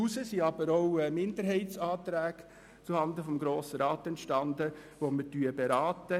Daraus entstanden jedoch auch Minderheitsanträge zuhanden des Grossen Rats, welche wir beraten werden.